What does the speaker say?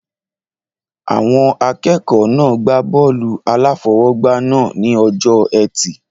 Àwọn akẹ́kọ̀ọ́ náà gbá bọ́ọ̀lù-aláfọwọ́gbá náà ní ọjọ́ ẹtì